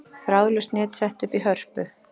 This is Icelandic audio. Þráðlaust net sett upp í Hörpu